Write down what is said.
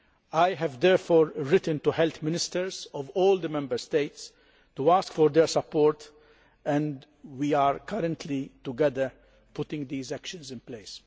I have therefore written to the Health Ministers of all the Member States to ask for their support, and together we are now putting these actions in place.